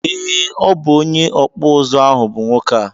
Ee, obụ onye ọkpụ ụzụ ahụ bụ nwoke a